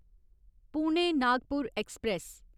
Pune Nagpur express